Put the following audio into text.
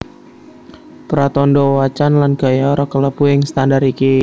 Pratandha wacan lan gaya ora kalebu ing standar iki